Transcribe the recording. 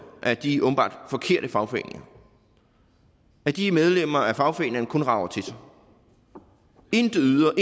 af de åbenbart forkerte fagforeninger at de medlemmer af fagforeningerne kun rager til sig intet yder